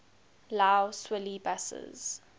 lough swilly buses